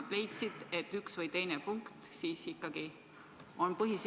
Te väitsite seda ja elu eest võitlesite selle eest, et sõnastuse muutmine tunnistataks n-ö näpuveaks.